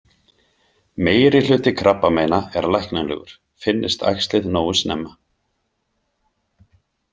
Meirihluti krabbameina er læknanlegur, finnist æxlið nógu snemma.